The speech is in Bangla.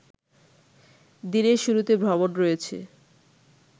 দিনের শুরুতে ভ্রমণ রয়েছে